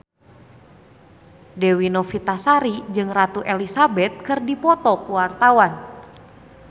Dewi Novitasari jeung Ratu Elizabeth keur dipoto ku wartawan